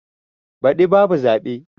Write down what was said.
Baɗi ba bu zaɓe.